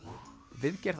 viðgerð